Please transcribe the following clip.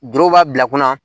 Doro b'a bila kunna